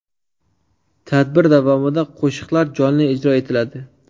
Tadbir davomida qo‘shiqlar jonli ijro etiladi.